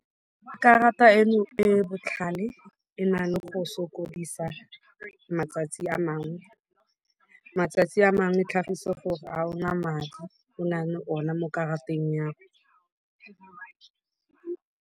Karata eno e botlhale e na le go sokodisa matsatsi a mangwe. Matsatsi a mangwe tlhagise gore a ona madi o nale ona mo karateng ya 'go.